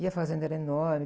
E a fazenda era enorme.